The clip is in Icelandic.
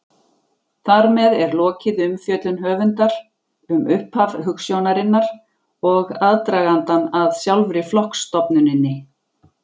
Þar með er lokið umfjöllun höfundar um upphaf hugsjónarinnar og aðdragandann að sjálfri flokksstofnuninni.